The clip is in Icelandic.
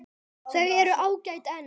Þau eru ágæt en.